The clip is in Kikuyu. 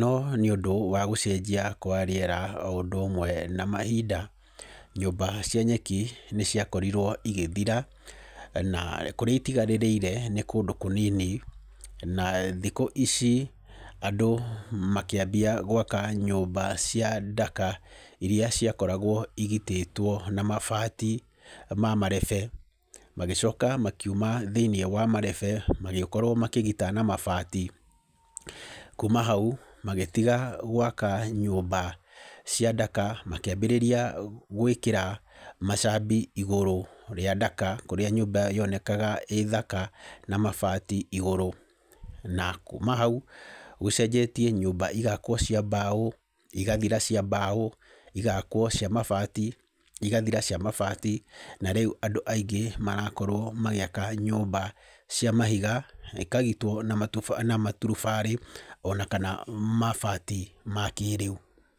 No nĩũndũ wa gũcenjia kwa rĩera oũndũ ũmwe na mahinda, nyũmba cia nyeki nĩciakorirwo igĩthira, na kũrĩa itigarĩrĩire nĩ kũndũ kũnini. Na thikũ ici andũ makĩambia gwaka nyũmba cia ndaka iria ciakoragwo igitĩtwo na mabati ma marebe. Magĩcoka makiuma thĩiniĩ wa marebe magĩkorwo makĩgita na mabati. Kuuma hau magĩtiga gwaka nyũmba cia ndaka makĩambĩrĩria gwĩkĩra macambi igũrũ rĩa ndaka kũrĩa nyũmba yonekaga ĩĩ thaka na mabati igũrũ. Na kuuma hau gũcenjetie nyũmba igakwo cia mbaũ, igathira cia mbaũ igakwo cia mabati, igathira cia mabati na rĩu andũ aingĩ marakorwo magĩaka nyũmba cia mahiga, ĩkagitwo na matuba, maturubarĩ ona kana mabati ma kĩĩrĩu.